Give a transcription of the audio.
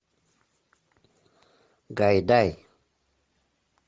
гайдай